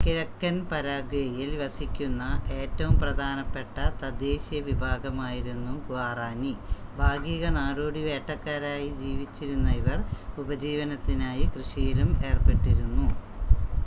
കിഴക്കൻ പരാഗ്വേയിൽ വസിക്കുന്ന ഏറ്റവും പ്രധാനപ്പെട്ട തദ്ദേശീയ വിഭാഗമായിരുന്നു ഗ്വാറാനി ഭാഗിക നാടോടി വേട്ടക്കാരായി ജീവിച്ചിരുന്ന ഇവർ ഉപജീവനത്തിനായി കൃഷിയിലും ഏർപ്പെട്ടിരുന്നു